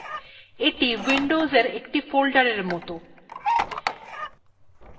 এইটি windowsএর একটি folders এর মতন